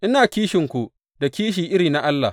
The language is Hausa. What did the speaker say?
Ina kishinku da kishi irin na Allah.